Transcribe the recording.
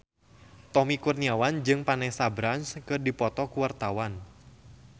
Tommy Kurniawan jeung Vanessa Branch keur dipoto ku wartawan